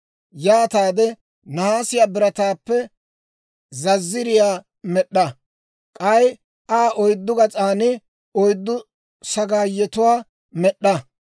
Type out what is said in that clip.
Yaataade nahaasiyaa birataappe zazziriyaa med'd'a; k'ay Aa oyddu gas'an oyddu sagaayetuwaa med'd'a.